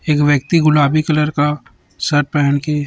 एक व्यक्ति गुलाबी कलर का शर्ट पेहन के--